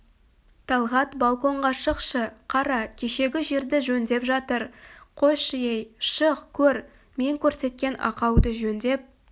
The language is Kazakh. талғат балконға шықшы қара кешегі жерді жөндеп жатыр қойшы ей шық көр мен көрсеткен ақауды жөндеп